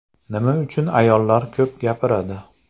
Nima uchun ayollar ko‘p gapiradi?.